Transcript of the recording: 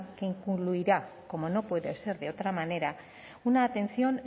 que incluirá como no puede ser de otra manera una atención